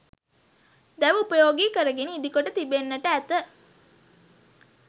දැව උපයෝගි කරගෙන ඉදිකොට තිබෙන්නෙට ඇත